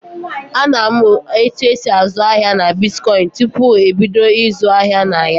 A na-amụ etu esị azụ ahịa na bitkọịnị tupu ebido ịzụ ahịa na ya.